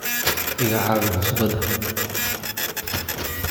Iga caawi cusbada.